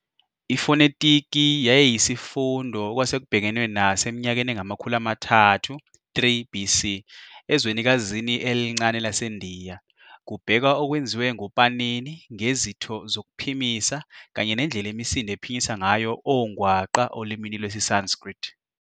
Ifonetiki yayiyisifundo okwasekubhekenwe naso eminyakeni engamakhulu amathathu, 3, BC ezwenikazini elincane laseNdiya, kubhekwa okwenziwe nguPanini ngezitho zokuphimisa kanye nendlela imisindo ephinyiswa ngayo ongwaqa olimini lwesiSanskrit.